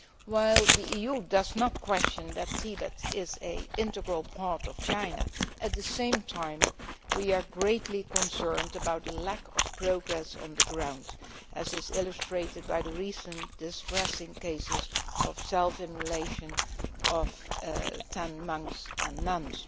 While the EU does not question that Tibet is an integral part of China, at the same time we are greatly concerned about the lack of progress on the ground, as is illustrated by the recent distressing cases of self immolation of ten monks and nuns.